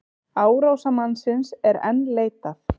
Árásarmannsins enn leitað